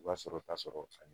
I b'a sɔrɔ k'a sɔrɔ ani